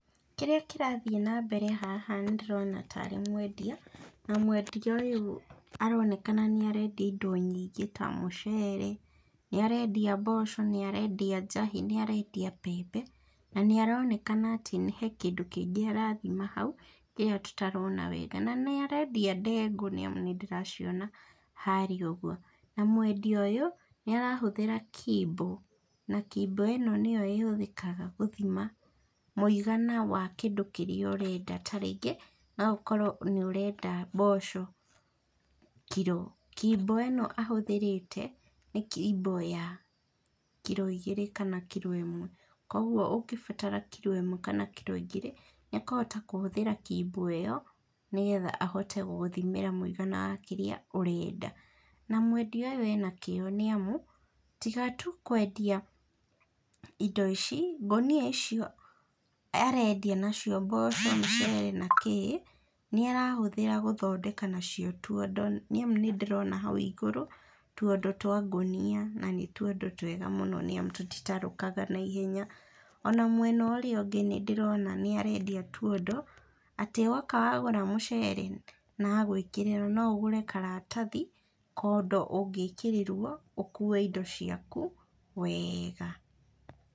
Kĩrĩa kĩrathiĩ na mbere haha nĩ ndĩrona ta rĩ mwendia, na mwendia ũyũ aronekana nĩ arendia indo nyingĩ ta mũcere, nĩ arendia mboco, nĩ arendia njahĩ, nĩ arendia mbembe, na nĩ aronekana atĩ he kĩndũ kĩngĩ arathima hau, ĩyo tũtarona wega, nanĩ arendia ndengũ, nĩ amu nĩ ndĩraciona harĩa ũguo, na mwendia ũyũ nĩ arahũthĩra kimbo, na kimbo ĩno nĩyo ĩhũthĩkaga gũthima mũigana wa kĩndũ kĩrĩa ũrenda, ta rĩngĩ no okorwo nĩ ũrenda mboco kiro, kimbo ĩno ahũthĩrĩte nĩ kimbo ya kiro igĩrĩ, kana kiro ĩmwe, koguo ũngĩbatara kiro ĩmwe kana kiro igĩrĩ nĩ akũhota kũhũthĩra kimbo ĩyo, nĩgetha ahote gũgũthimĩra mũigana wa kĩrĩa ũrenda. Na mwendia ũyũ ena kĩo, nĩ amu tiga tu kwendia indo ici, ngũnia icio arendia na cio mboco, mũcere nakĩ, nĩ arahũthĩra gũthondeka nacio tuondo, nĩ amu nĩ ndĩrona hau igũrũ, tuondo twa ngũnia, na nĩ tuondo twega mũno, nĩ amu tũtirakũga na ihenya, ona mwena ũrĩa ũngĩ nĩ ndĩrona nĩ arendia tuondo, atĩ woka wagũra mũcere na agakwĩrĩra no ũgũre karatathi, kondo ũngĩkĩrĩrwo ũkue indo ciaku wega.